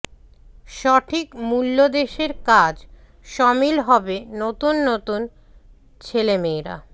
সঠিক মূল্যদেশের কাজ সমিল হবে নতুন নতুন ছেলে মেয়েরা